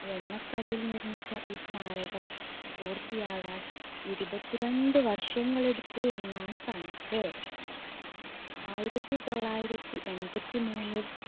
വെണ്ണക്കല്ലിൽ നിർമ്മിച്ച ഈ സ്മാരകം പൂർത്തിയാകാൻ ഇരുപത്തിരണ്ട് വർഷങ്ങൾ എടുത്തു എന്നാണ് കണക്ക്. ആയിരത്തി തൊള്ളായിരത്തി എൺപത്തിമൂന്നിൽ